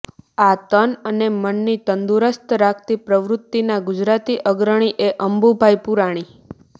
આ તન અને મનને તંદુરસ્ત રાખતી પ્રવૃત્તિના ગુજરાતી અગ્રણી તે અંબુભાઈ પુરાણી